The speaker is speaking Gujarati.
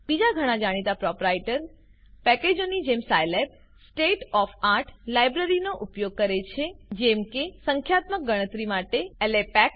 બીજા ઘણા જાણીતા પ્રોપરાઇટર પેકેજોની જેમ સાયલેબ state of આર્ટ લાઇબ્રેરીનો ઉપયોગ કરે છે જેમ કે સંખ્યાત્મક ગણતરી માટે લેપેક